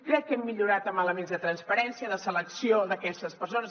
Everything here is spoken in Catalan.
crec que hem millorat amb elements de transparència de selecció d’aquestes persones